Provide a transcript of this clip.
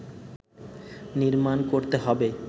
নির্মাণ করতে হবে